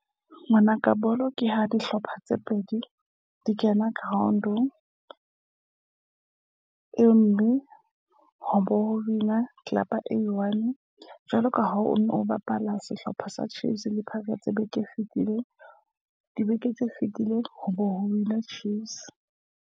Ngwana ka, bolo ke ha dihlopha tse pedi di kena ground-ng. e mme ho bo win a club-a e i-one. Jwalo ka ha o bapala sehlopha sa Chiefs le Pirates beke e fetileng. Dibeke tse fitileng ho bo ho win-a Chiefs.